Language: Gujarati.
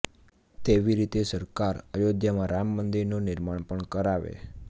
તેવી રીતે સરકાર અયોધ્યામાં રામ મંદિરનું નિર્માણ પણ કરાવે